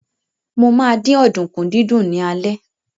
Mo ma dín ọ̀dùnkún dídún ní alẹ́